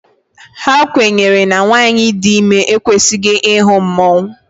A kwenyere na nwanyị dị ime ekwesịghị ịhụ mmanwụ